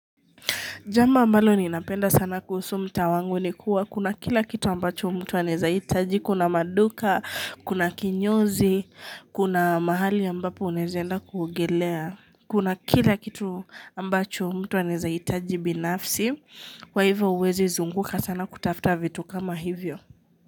Jambo ambalo ni napenda sana kuhusu mtaa wangu ni kuwa kuna kila kitu ambacho mtu anezahitaji, kuna maduka, kuna kinyozi, kuna mahali ambapo unaezenda kuogelea, kuna kila kitu ambacho mtu anezahitaji binafsi, kwa hivyo huwezi zunguka sana kutafuta vitu kama hivyo.